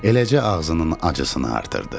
Eləcə ağzının acısını artırdı.